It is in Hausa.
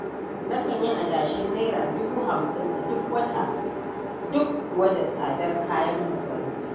Nakan yi adashin Naira dubu hamsin a duk wata duk kuwa da tsadar kayan masarufi.